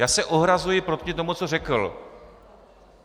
Já se ohrazuji proti tomu, co řekl!